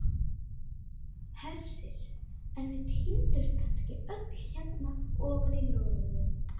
Hersir: en þau týndust kannski öll hérna ofan í, loforðin?